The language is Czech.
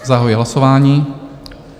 Zahajuji hlasování.